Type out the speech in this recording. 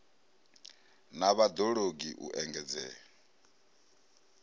na vhad ologi u engedzea